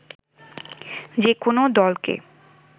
যেকোনো দলকে